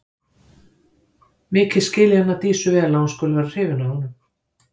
Mikið skil ég hana Dísu vel að hún skuli vera hrifin af honum.